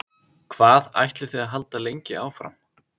Hvað ætlið þið að halda lengi áfram?